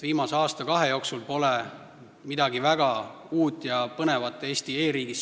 Viimase aasta-kahe jooksul pole Eesti e-riigis midagi uut ja põnevat sündinud.